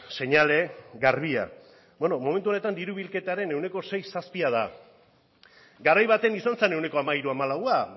seinale garbia bueno momentu honetan diru bilketaren ehuneko seizazpia da garai baten izan zen ehuneko hamairuhamalaua